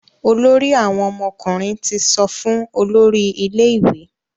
Olórí àwọn ọmọkùnrin tí sọfún olórí ilé ìwé.